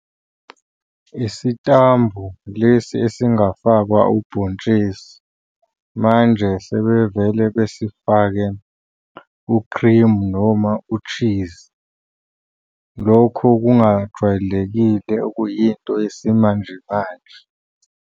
Isitambu lesi esingafakwa ubhontshisi, manje sebevele besifake u-cream noma u-cheese, lokho okungajwayelekile okuyinto yesimanje manje.